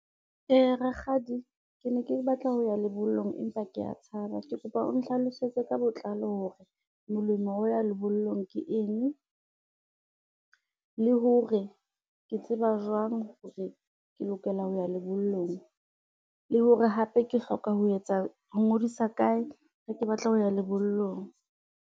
Rakgadi ke ne ke batla ho ya lebollong empa kea tshaba, ke kopa o nhlalosetse ka botlalo hore molemo wa ho ya lebollong ke eng, le hore ke tseba jwang hore ke lokela ho ya lebollong, le hore hape ke hloka ho ngodisa kae ha ke batla ho ya lebollong.